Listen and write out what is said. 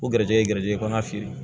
O garijigɛ ye garijigɛ kɔnɔna fiyɛ